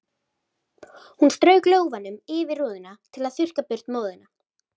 Hún strauk lófanum yfir rúðuna til að þurrka burt móðuna.